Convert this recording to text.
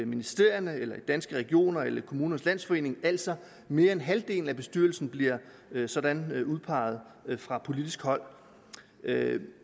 ministerierne eller i danske regioner eller kommunernes landsforening altså mere end halvdelen af bestyrelsen bliver sådan udpeget fra politisk hold